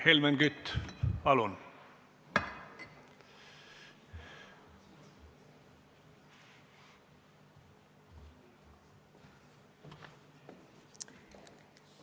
Helmen Kütt, palun!